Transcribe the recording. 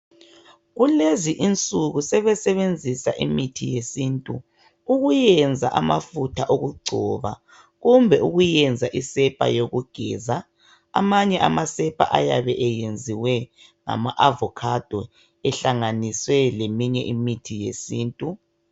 Kulezi insuku sebesebenzisa imithi yesintu ukuyenza amafutha okugcoba kumbe ukuyenza isepa yokugeza. Amanye amasepa ayabe eyenziwe ngama 'AVOCADO' ehlanganiswe leminye imithi yesintu.